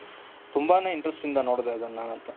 ತುಂಬಾನೇ interesting ಇಂದ ನೋಡಿದೆ ಅದನ ನಾನು ಅಂತು.